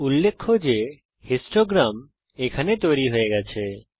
উল্লেখ্য যে বারলেখ হিস্টোগ্রাম এখানে তৈরী হয়ে গেছে